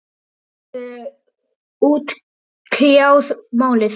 Þeir höfðu útkljáð málið.